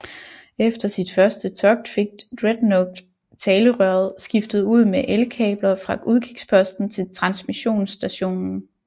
Efter sit første togt fik Dreadnought talerøret skiftet ud med elkabler fra udkigsposten til transmissionsstationen